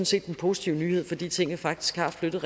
set den positive nyhed fordi tingene faktisk har flyttet